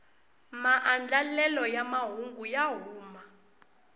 maandlelelo ya mahungu ya huma